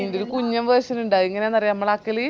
ഈന്ടെ ഒരു കുഞ്ഞൻ version ഇൻഡ് അതെങ്ങനാന്ന് അറിയോ മ്മളാക്കല്